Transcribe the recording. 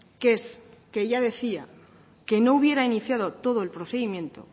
que es que ella decía que no hubiera iniciado todo el procedimiento